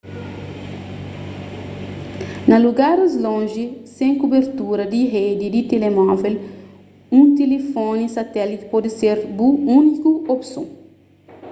na lugaris lonji sen kubertura di redi di telemóvel un tilifoni satéliti pode ser bu úniku opson